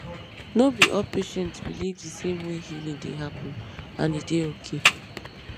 no be all patients believe the same way healing dey happen and e dey okay